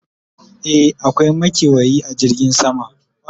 e akwai makewayi a jirgin sama